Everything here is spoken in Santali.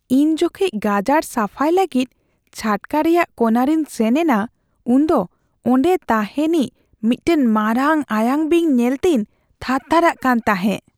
ᱤᱧ ᱡᱚᱠᱷᱮᱡ ᱜᱟᱡᱟᱲ ᱥᱟᱯᱷᱟᱭ ᱞᱟᱹᱜᱤᱫ ᱪᱷᱟᱴᱠᱟ ᱨᱮᱭᱟᱜ ᱠᱚᱱᱟᱨᱤᱧ ᱥᱮᱱ ᱮᱱᱟ, ᱩᱱᱫᱚ ᱚᱸᱰᱮ ᱛᱟᱦᱮᱱᱤᱡ ᱢᱤᱫᱴᱟᱝ ᱢᱟᱨᱟᱝ ᱟᱭᱟᱝ ᱵᱤᱧ ᱧᱮᱞᱛᱤᱧ ᱛᱷᱟᱨ ᱛᱷᱟᱨᱟᱜ ᱠᱟᱱ ᱛᱟᱦᱮᱸᱜ ᱾